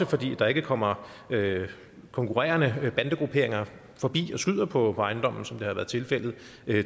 fordi der ikke kommer konkurrerende bandegrupperinger forbi og skyder på ejendommen som det har været tilfældet